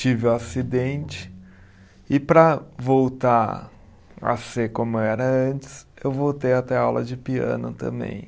Tive o acidente e para voltar a ser como era antes, eu voltei a ter aula de piano também.